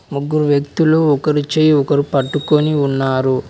ముగ్గురు వ్యక్తులు ఒకరు చేయి ఒకరు పట్టుకొని ఉన్నారు.